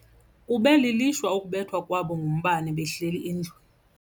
Kube lilishwa ukubethwa kwabo ngumbane behleli endlwini.